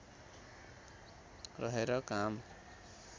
रहेर काम